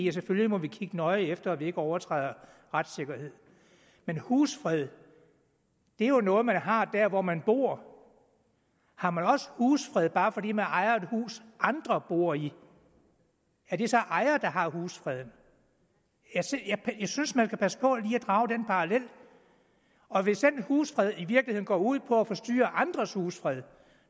vi selvfølgelig må kigge nøje efter at vi ikke overtræder retssikkerheden men husfred er jo noget man har hvor man bor har man også husfred bare fordi man ejer et hus andre bor i er det så ejeren der har husfred jeg synes synes man skal passe på at drage den parallel og hvis den husfred i virkeligheden går ud på at forstyrre andres husfred